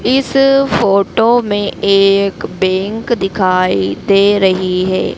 इस फोटो में एक बैंक दिखाई दे रही है।